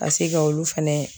Ka se ka olu fɛnɛ